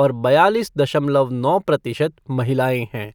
और बयालीस दशमलव नौ प्रतिशत महिलाएं है।